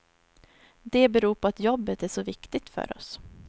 Det beror på att jobbet är så viktigt för oss.